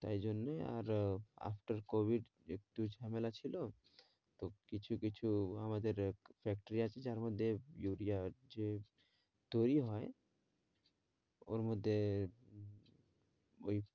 তাই জন্যেই আরো after covid একটু ঝামেলা ছিল তো কিছু কিছু আমাদের factory আছে যার মধ্যে ইউড়িয়া হচ্ছে তৈরী হয় ওর মধ্যে ওই